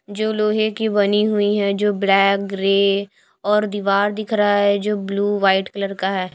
जो लोहे की बनी हुई है जो ब्लैक ग्रे और दीवार दिख रहा है जो ब्लू वाइट कलर का है।